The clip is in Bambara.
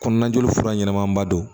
Kɔnɔna joli fura ɲɛnama ba don